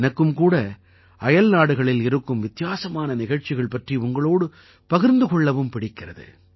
எனக்கும் கூட அயல்நாடுகளில் இருக்கும் வித்தியாசமான நிகழ்ச்சிகள் பற்றி உங்களோடு பகிர்ந்து கொள்ளவும் பிடிக்கிறது